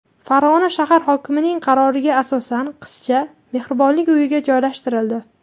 Farg‘ona shahar hokimining qaroriga asosan qizcha Mehribonlik uyiga joylashtirildi.